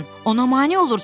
ona mane olursan.